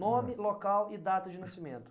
Nome, local e data de nascimento.